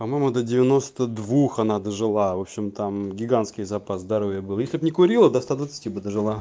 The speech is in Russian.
помоему до девяносто двух она дожила в общем там гигантский запас здоровья в этот не курила до ста двадцати бы дожила